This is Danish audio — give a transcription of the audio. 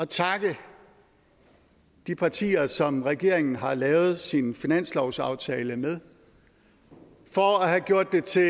takke de partier som regeringen har lavet sin finanslovsaftale med for at have gjort det til